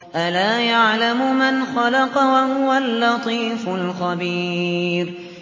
أَلَا يَعْلَمُ مَنْ خَلَقَ وَهُوَ اللَّطِيفُ الْخَبِيرُ